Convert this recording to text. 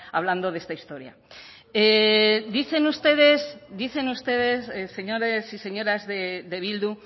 hablando de esta historia dicen ustedes dicen ustedes señores y señoras de bildu